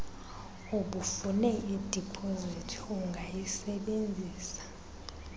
ubufune idipozithi ungayisebenzisa